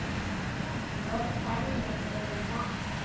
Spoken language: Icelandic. Mörg dæmi er um þetta.